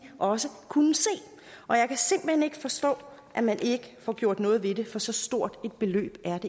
også kunne se og jeg kan simpelt hen ikke forstå at man ikke får gjort noget ved det for så stort et beløb er